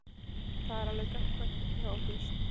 Það er alveg gagnkvæmt hjá okkur.